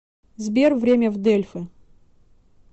сбер время в дельфы